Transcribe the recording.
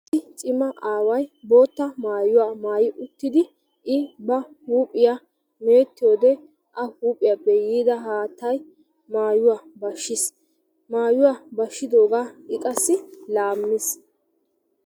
Issi cima aaway bootta maayuywaa maayi uttidi i ba huuphphiyaa me'ettiyoode a huuphphiyaappe yiida haattay maayuwaa bashshiis. Maayuwaa bashshidoogaa i qassi laammiis.